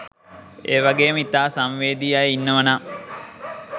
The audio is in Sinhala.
ඒවගේම ඉතා සංවේදී අය ඉන්නවනම්